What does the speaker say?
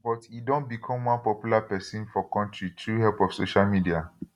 but e don become one popular pesin for kontri through help of social media